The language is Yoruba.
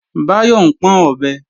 Báyọ̀ ń pọ́n ọ̀bẹ